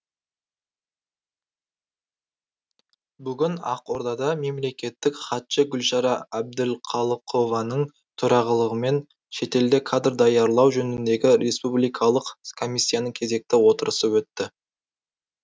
бүгін ақордада мемлекеттік хатшы гүлшара әбдіқалықованың төрағалығымен шетелде кадр даярлау жөніндегі республикалық комиссияның кезекті отырысы өтті